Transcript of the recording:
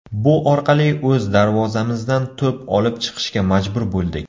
Bu orqali o‘z darvozamizdan to‘p olib chiqishga majbur bo‘ldik.